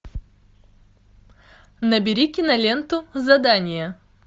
набери киноленту задание